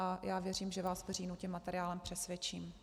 A já věřím, že vás v říjnu tím materiálem přesvědčím.